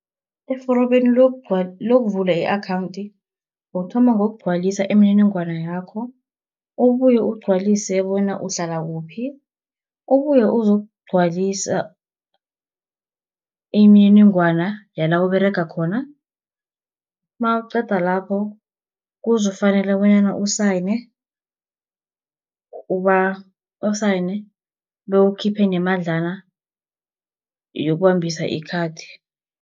Eforomeni lokuvula i-akhawunthi, ukuthoma ngokugcwalisa imininingwana yakho. Ubuye ugcwalise bona uhlala kuphi, ubuye uzokugcwalisa imininingwana yala Uberega khona. Nawuqeda lapho kuzokufanela bonyana usayine, bewukhiphe nemadlana yokubambisa ikhathi.